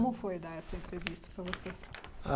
Como foi dar essa entrevista para você? Ah